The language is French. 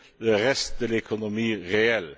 le reste de l'économie réelle.